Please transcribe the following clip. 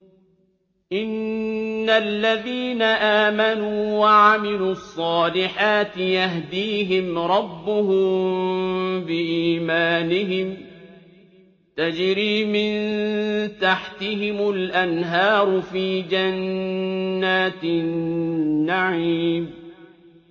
إِنَّ الَّذِينَ آمَنُوا وَعَمِلُوا الصَّالِحَاتِ يَهْدِيهِمْ رَبُّهُم بِإِيمَانِهِمْ ۖ تَجْرِي مِن تَحْتِهِمُ الْأَنْهَارُ فِي جَنَّاتِ النَّعِيمِ